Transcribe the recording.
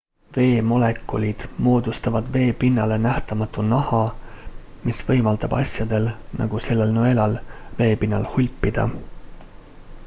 veemolekulid moodustavad veepinnale nähtamatu naha mis võimaldab asjadel nagu sellel nõelal veepinnal hulpida